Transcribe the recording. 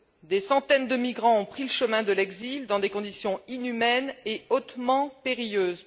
Des centaines de migrants ont pris le chemin de l'exil dans des conditions inhumaines et hautement périlleuses.